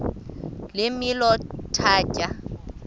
le milo ithatya